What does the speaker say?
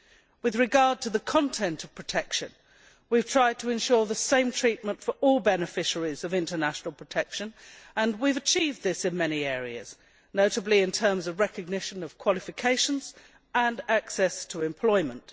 With regard to the content of protection, we have tried to ensure the same treatment for all beneficiaries of international protection and have achieved this in many areas, notably in terms of recognition of qualifications and access to employment.